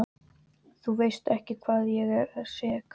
Þú veist ekki hvað ég er sek.